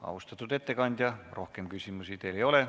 Austatud ettekandja, rohkem küsimusi teile ei ole.